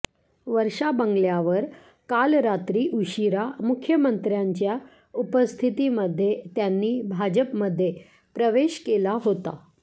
वर्षा बंगल्यावर काल रात्री उशीरा मुख्यमंत्र्यांच्या उपस्थितीमध्ये त्यांनी भाजपमध्ये प्रवेश केला होता